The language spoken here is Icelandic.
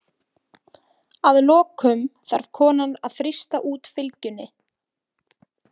Að lokum þarf konan að þrýsta út fylgjunni.